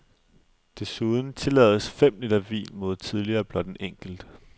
Desuden tillades fem liter vin mod tidligere blot en enkelt.